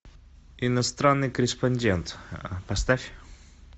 иностранный корреспондент поставь